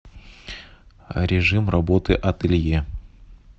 режим работы ателье